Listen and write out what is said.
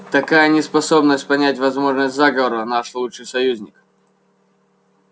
такая неспособность понять возможность заговора наш лучший союзник